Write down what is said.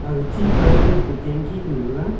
aga chi pai a le tanki kanu thaga.